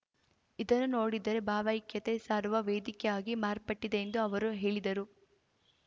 ಇದನ್ನು ನೋಡಿದರೆ ಭಾವೈಕ್ಯತೆ ಸಾರುವ ವೇದಿಕೆಯಾಗಿ ಮಾರ್ಪಟ್ಟಿದೆ ಎಂದು ಅವರು ಹೇಳಿದರು